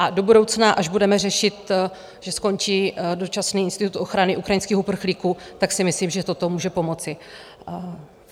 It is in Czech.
A do budoucna, až budeme řešit, že skončí dočasný institut ochrany ukrajinských uprchlíků, tak si myslím, že toto může pomoci.